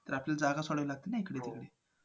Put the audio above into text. तर आपल्याला जागा सोडावी लागते ना